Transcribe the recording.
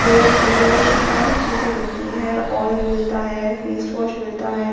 तोप वगैरा यह सारी चीजें मिलती है आयल मिलता है फेस वॉश मिलता है --